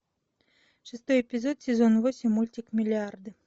шестой эпизод сезон восемь мультик миллиарды